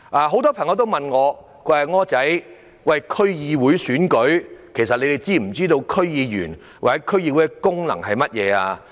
很多朋友問我，"'柯仔'，區議會選舉在即，但大家是否知道區議會的功能及區議員的工作是甚麼？